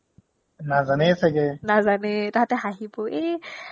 নাজানেই ছগে নাজানেই তাহাতে হাঁহিব এ